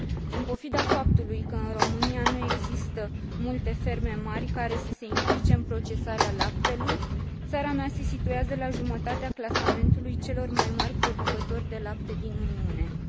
În pofida faptului că, în România, nu există multe ferme mari, care să se implice în procesarea laptelui, țara mea se situează la jumătatea clasamentului celor mai mari producători de lapte din Uniunea Europeană.